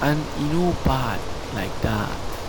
and e no bad like that.